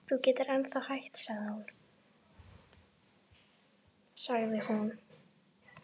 Þú getur ennþá hætt sagði hún.